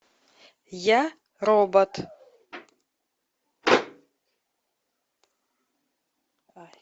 я робот